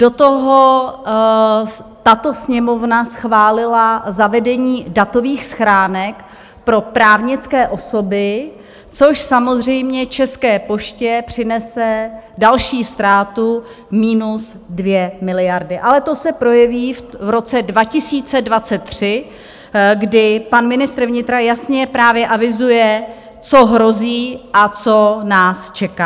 Do toho tato Sněmovna schválila zavedení datových schránek pro právnické osoby, což samozřejmě České poště přinese další ztrátu -2 miliardy, ale to se projeví v roce 2023, kdy pan ministr vnitra jasně právě avizuje, co hrozí a co nás čeká.